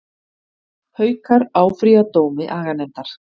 Haukar áfrýja dómi aganefndar